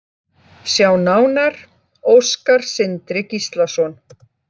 Sjá nánar: Óskar Sindri Gíslason.